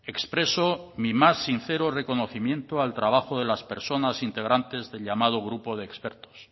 expreso mi más sincero reconocimiento al trabajo de las personas integrantes del llamado grupo de expertos